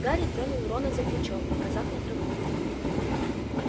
гарри тронул рона за плечо показав на траву